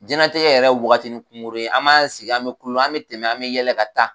Jɛnnatigɛ yɛrɛ ye wagatinin kungurun ye an ma sigi an bɛ kulu an bɛ tɛmɛ an bɛ yɛlɛ ka taa.